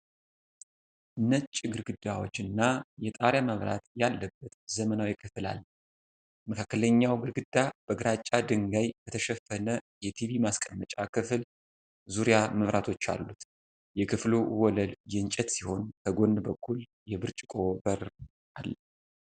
ነጭ ግድግዳዎች እና የጣሪያ መብራት ያለበት ዘመናዊ ክፍል አለ። መካከለኛው ግድግዳ በግራጫ ድንጋይ በተሸፈነ የቲቪ ማስቀመጫ ክፍል ዙሪያ መብራቶች አሉት። የክፍሉ ወለል የእንጨት ሲሆን፣ ከጎን በኩል የብርጭቆ በር አለ።